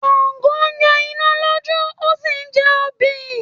Sàngó ń yọ iná lójú ó sì ń jẹ obì.